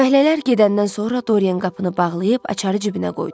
Fəhlələr gedəndən sonra Dorian qapını bağlayıb açarı cibinə qoydu.